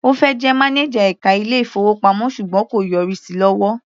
Ó fẹ́ jẹ mánájà ẹka ilé-ìfowópamọ́ ṣùgbọ́n kò yọrí sí lọ́wọ́.